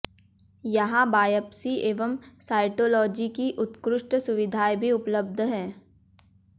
यहाँ बायप्सी एवं सायटोलाजी की उत्कृष्ट सुविधाएं भी उपलब्ध है